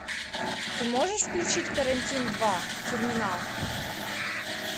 ты можешь включить карантин два терминал